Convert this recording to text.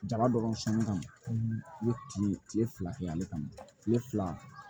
Jaba dɔrɔn sanni kama u bɛ kile kile fila kɛ ale kama kile fila